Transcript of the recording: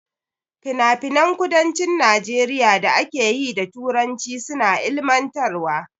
Finafinan kudancin Najeriya da ake yi da Turanci suna ilmantarwa.